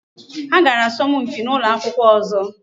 Ha gara asọmpi na ụlọ akwụkwọ ọzọ.